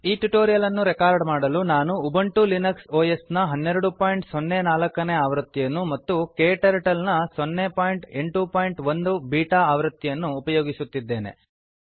ಈ ಟ್ಯುಟೋರಿಯಲ್ ಅನ್ನು ರೆಕಾರ್ಡ್ಧ್ವನಿಮುದ್ರಣ ಮಾಡಲು ನಾನು ಉಬಂಟು ಲಿನಕ್ಸ್ ಒಎಸ್ ನ 1204 ನೇ ಆವೃತ್ತಿಯನ್ನು ಮತ್ತು ಕ್ಟರ್ಟಲ್ ನ 081 ಬೀಟಾ ಆವೃತ್ತಿಯನ್ನು ಉಪಯೋಗಿಸುತ್ತಿದ್ದೇನೆ